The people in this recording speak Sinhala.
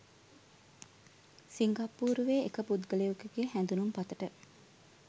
සිංගප්පූරුවේ එක පුද්ගලයකුගේ හැඳුනුම්පතට